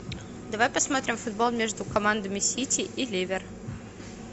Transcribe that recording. давай посмотрим футбол между командами сити и ливер